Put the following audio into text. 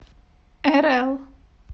эрэл